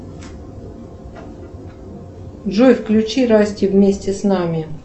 джой включи расти вместе с нами